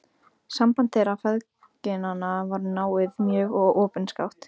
Samband þeirra feðginanna var náið mjög og opinskátt.